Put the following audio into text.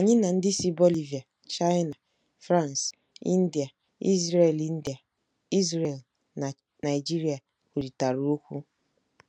Anyị na ndị si Bolivia, China, France, India, Israel India, Israel, na Nigeria kwurịtara okwu.